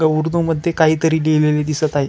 ग उर्दु मध्ये कायतरी लिहिलेलं दिसत आहे.